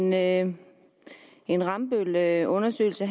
med en en rambøllundersøgelse